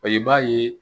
I b'a ye